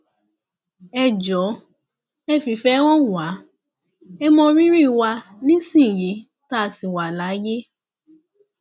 ẹ jọọ ẹ fìfẹ hàn wá ẹ mọ rírì wa nísìnyìí tá a ṣì wà láyé